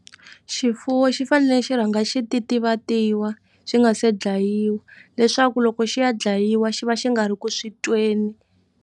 Xifuwo xi fanele xi rhanga xi titivatiwa xi nga se dlayiwa leswaku loko xi ya dlayiwa xi va xi nga ri ku swi tweni.